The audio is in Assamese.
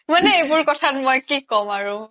মানে এইবোৰ কথাত মই কি ক'ম আৰু